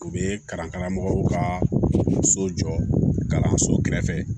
U bɛ kalan karamɔgɔw ka so jɔ kalanso kɛrɛfɛ